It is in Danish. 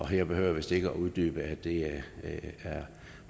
her behøver jeg vist ikke at uddybe at det er